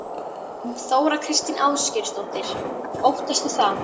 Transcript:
Þóra Kristín Ásgeirsdóttir: Óttastu það?